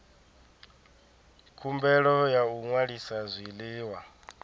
khumbelo ya u ṅwalisa zwiḽiwa